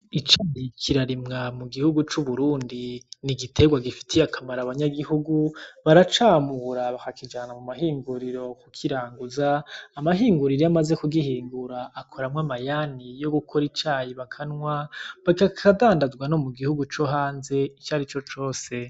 Icayi kirarimwa mu gihugu c’Uburundi ni igiterw agifitiye akamaro abanyagihugu baracamura bakakijana mumahinguriro kukiranguza amahinguriro iyo amaze kugihingura akoramwo amayani yo gukora icayi bakanwa akadandazwa no mugihugu co hanze ico ari co cose.